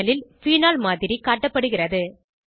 panel ல் phenol மாதிரி காட்டப்படுகிறது